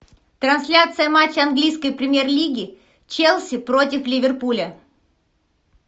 трансляция матча английской премьер лиги челси против ливерпуля